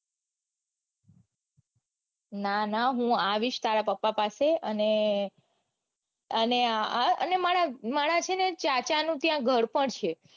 ના ના હું આવીશ તારા પપા પાસે અને અને આ મારા મારા છે ને ચાચા નું ત્યાં ઘર પણ છે.